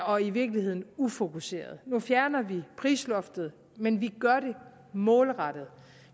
og i virkeligheden ufokuseret nu fjerner vi prisloftet men vi gør det målrettet